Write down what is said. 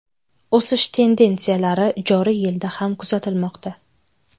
O‘sish tendensiyalari joriy yilda ham kuzatilmoqda.